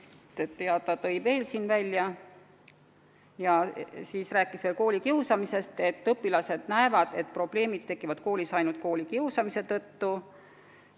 Ta toonitas veel, et õpilaste arvates tekivad probleemid koolis ainult koolikiusamise tõttu.